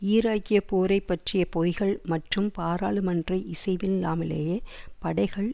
ஈராக்கிய போரை பற்றிய பொய்கள் மற்றும் பாராளுமன்ற இசைவில்லாமலேயே படைகளை